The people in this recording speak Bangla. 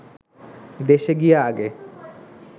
দেশে গিয়া আগে